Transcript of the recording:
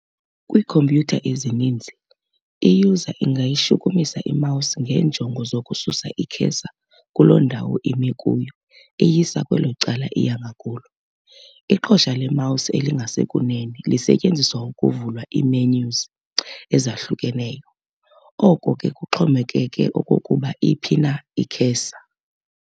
Kwiikhompyutha ezininzi, i-user ingayishukumisa i-mouse ngeenjongo zokususa i-cursor kuloo ndawo imi kuyo iyisa kwelo cala iya ngakulo. Iqhosa le-mouse elingasekunene lisetyenziswa ukuvula ii-menus ezahlukeneyo, oko ke kuxhomekeke okokuba iphi na i-cursor.